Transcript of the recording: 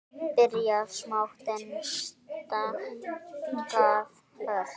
Byrjað smátt, en stækkað ört.